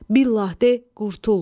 Billah de, qurtul.